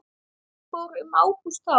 Fór um Ágúst þá?